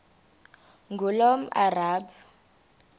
ngulomarabu